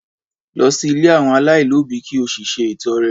Lọ sí ilé àwọn aláìlóbìí ki o sì ṣe ìtọre